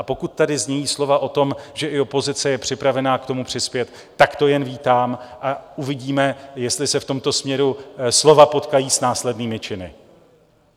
A pokud tady znějí slova o tom, že i opozice je připravena k tomu přispět, tak to jen vítám a uvidíme, jestli se v tomto směru slova potkají s následnými činy.